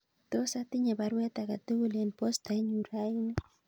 Tos atinye baruet age tugul en poostainyun raini